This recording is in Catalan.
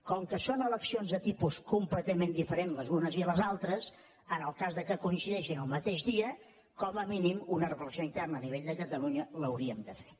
com que són eleccions de tipus completament diferents les unes i les altres en el cas que coincideixin el mateix dia com a mínim una reflexió interna a nivell de catalunya l’hauríem de fer